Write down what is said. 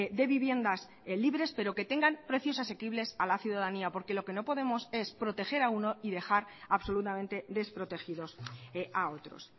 de viviendas libres pero que tengan precios asequibles a la ciudadanía porque lo que no podemos es proteger a uno y dejar absolutamente desprotegidos a otros